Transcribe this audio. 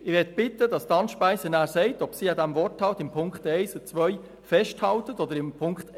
Ich möchte Grossrätin Anne Speiser bitten, anschliessend zu sagen, ob sie an diesem Wortlaut der Ziffern 1 und 2 festhält dem Antrag